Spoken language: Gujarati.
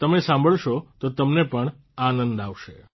તમે સાંભળશો તો તમને પણ આનંદ આવશે